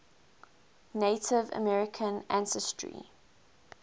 native american ancestry